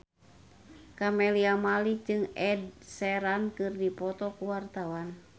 Camelia Malik jeung Ed Sheeran keur dipoto ku wartawan